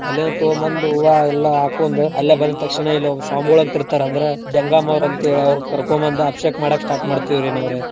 ಅಲ್ಲಿಂದ ತಗೊಂಬಂದು ಹೂವಾ ಎಲ್ಲಾ ಹಾಕೋಂದು ಅಲ್ಲೇ ಬಂದ್ ತಕ್ಷಣ ಇಲ್ ಒಬ್ ಸ್ವಾಮ್ಗೊಳು ಅಂತ್ ಇರ್ತಾರ ಅಂದ್ರ ಜಂಗಮೋರ್ ಅಂತೇಳಿ ಅವ್ರ್ ಕರ್ಕೊಂಬಂದ್ ಅಬ್ಷೇಕ್ ಮಾಡಾಕ್ start ಮಾಡ್ತೀವ್ರೀ ನಾವ್ರೀ.